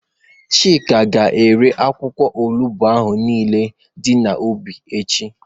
Chika ga-ere akwụkwọ olugbu ahụ niile dị n'ubi echi.